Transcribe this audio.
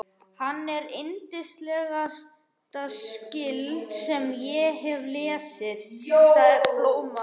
Hann er yndislegasta skáld sem ég hef lesið, sagði Flóamaður.